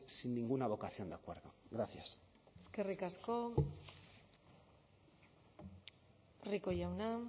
sin ninguna vocación de acuerdo gracias eskerrik asko rico jauna